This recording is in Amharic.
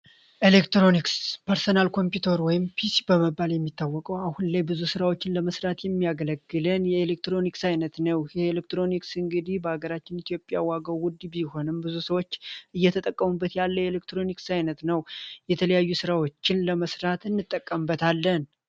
ኤሌክትሮኒክስ ፐርሰናል ኮምፒውተር ወም ፒሲ በመባል የሚታወቀው አሁን ላይ ብዙ ሥራዎችን ለመስራት የሚያገለግለን የኤሌክትሮኒክስ ዓይነት ነው። ይህኤሌክትሮኒክስ እንግዲህ በሀገራችን ኢትዮጵያ ዋገው ውድ ቢሆንም ብዙ ሰዎች እየተጠቀሙበት ያለ የኤሌክትሮኒክስ ዓይነት ነው። የተለያዩ ሥራዎችን ለመስርት እንጠቀምበት አለን።